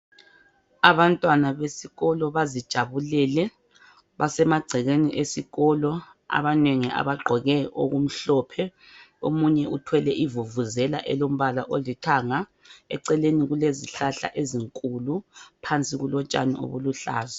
Abantwana besikolo bazijabulele basemagcekeni esikolo abanengi abagqoke okumhlophe omunye uthwele ivuvuzela elombala olithanga eceleni kulezihlahla ezinkulu phansi kulotshani obuluhlaza.